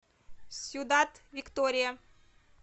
сьюдад виктория